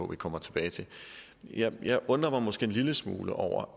vi kommer tilbage til jeg jeg undrer mig måske en lille smule over